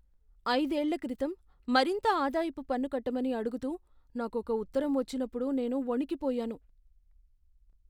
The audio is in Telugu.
ఐదేళ్ల క్రితం మరింత ఆదాయపు పన్ను కట్టమని అడుగుతూ నాకొక ఉత్తరం వచ్చినప్పుడు నేను వణికిపోయాను.